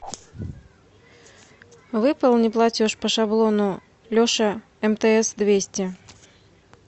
выполни платеж по шаблону леша мтс двести